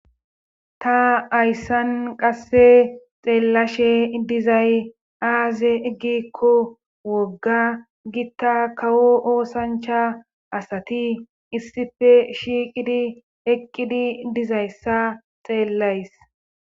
ta ayssan qasse xeellashe dizay aaze eggikko wogga gitta kawo oosancha asati issife shiiqidi eqqidi dizayssa xeellays